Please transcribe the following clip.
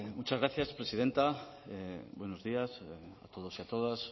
muchas gracias presidenta buenos días a todos